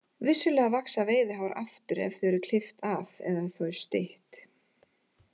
Vissulega vaxa veiðihár aftur ef þau eru klippt af eða þau stytt.